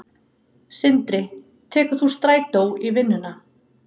Sindri: Tekur þú strætó í vinnuna?